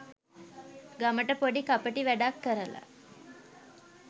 ගමට පොඩි කපටි වැඩක් කරලා